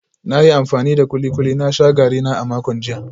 Na yi amfani da kulikuli na sha garina a makon jiya